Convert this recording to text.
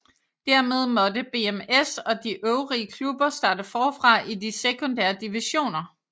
Dermed måtte BMS og de øvrige klubber starte forfra i de sekundære divisioner